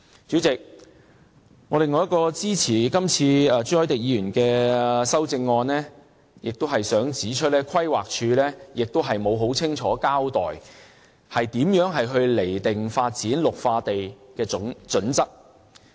主席，我另一個支持朱凱廸議員修正案的原因是，規劃署沒有很清楚地交代如何釐定發展綠化地的準則。